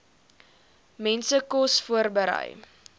mense kos voorberei